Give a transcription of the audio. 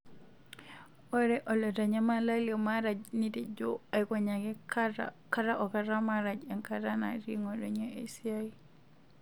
Ore olotanyamala le Maraj netejo eikonyaki kata o kata Maraj enkata natii ngotonye esiai.